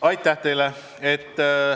Aitäh teile!